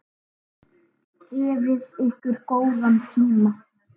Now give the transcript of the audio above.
Gefið ykkur góðan tíma.